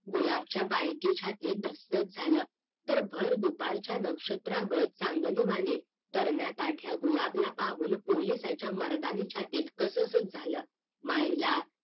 गुलाबच्या बायकोसाठी धस्कतच झाल तर भर दुपारच्या नक्षत्रागत चांदनी वाणी तरण्याकाठ्या गुलबला पाहून पोलिसाच्या मर्दानी छातीत कसचं झालं मायला